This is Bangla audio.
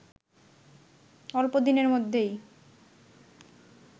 অল্প দিনের মধ্যেই